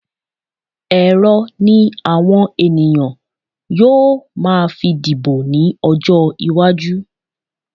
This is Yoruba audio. Ẹ̀rọ ni àwọn ènìyàn yóò máa fi dìbò ní ọjọ́ iwájú